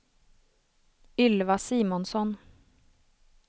Ylva Simonsson